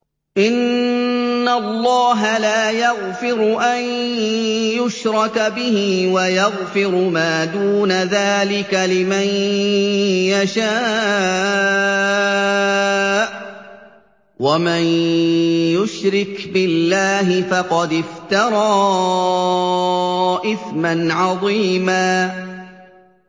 إِنَّ اللَّهَ لَا يَغْفِرُ أَن يُشْرَكَ بِهِ وَيَغْفِرُ مَا دُونَ ذَٰلِكَ لِمَن يَشَاءُ ۚ وَمَن يُشْرِكْ بِاللَّهِ فَقَدِ افْتَرَىٰ إِثْمًا عَظِيمًا